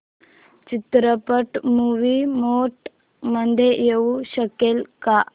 चित्रपट movie mode मध्ये येऊ शकेल का